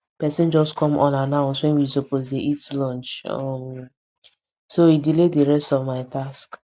person just come unannounced when we suppose dey eat lunch um so e delay the rest of my task